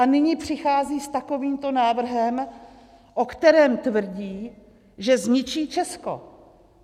A nyní přichází s takovýmto návrhem, o kterém tvrdí, že zničí Česko!